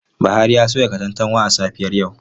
Buhari ya soya katantanwa a safiyar yau.